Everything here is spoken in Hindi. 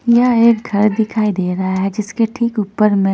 यह एक घर दिखाई दे रहा है जीसके ठीक ऊपर में--